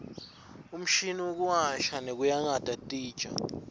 umshini wekuwasha nekuyakata titja